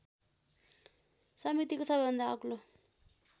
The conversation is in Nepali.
समितिको सवैभन्दा अग्लो